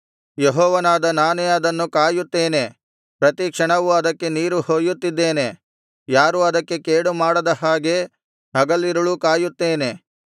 ಯೆಹೋವನಾದ ನಾನೇ ಅದನ್ನು ಕಾಯುತ್ತೇನೆ ಪ್ರತಿ ಕ್ಷಣವೂ ಅದಕ್ಕೆ ನೀರು ಹೊಯ್ಯುತ್ತಿದ್ದೇನೆ ಯಾರೂ ಅದಕ್ಕೆ ಕೇಡು ಮಾಡದ ಹಾಗೆ ಹಗಲಿರುಳೂ ಕಾಯುತ್ತೇನೆ